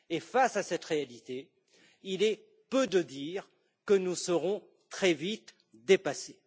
Face à cette réalité, il est peu de dire que nous serons très vite dépassés.